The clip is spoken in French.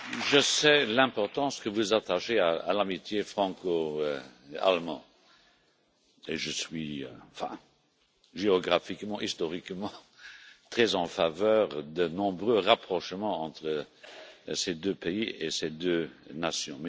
Je sais l'importance que vous attachez à l'amitié franco allemande et je suis géographiquement et historiquement très en faveur de nombreux rapprochements entre ces deux pays et ces deux nations.